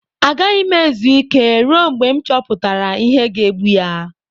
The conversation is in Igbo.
Agaghị m ezu ike ruo mgbe m chọpụtara ihe ga-egbu ya.